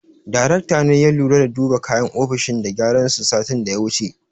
Daraktan ne ya lura da duba kayan ofishin da gyaran su satin da ya wuce.